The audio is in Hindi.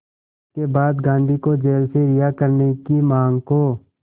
इसके बाद गांधी को जेल से रिहा करने की मांग को